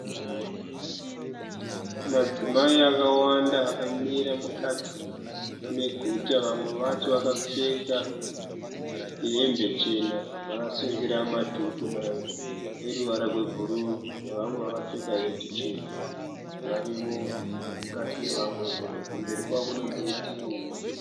Madzimai akawanda akamira mukati meguta vamwe vacho vakapfeka hembe chena vakasungira madhuku eruvara rwebhuru nevamwe vakapfeka heti tsvuku varimo mukati mevamwe imomo. Kumberi kwavo kune muti muhombe.